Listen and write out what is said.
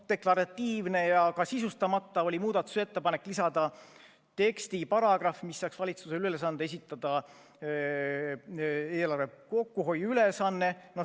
Deklaratiivne ja ka sisustamata oli muudatusettepanek lisada teksti paragrahv, mis seaks valitsusele ülesande esitada eelarve kokkuhoiu ülesanne.